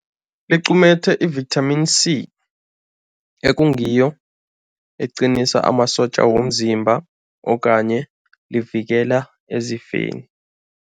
Liqumethe i-Vitamin C, eqinisa amasotja womzimba okanye livikela ezifeni.